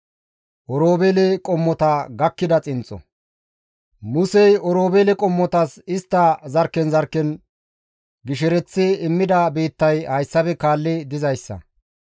Musey Oroobeele qommotas istta zarkken zarkken gishereththi immida biittay hayssafe kaalli dizayssa.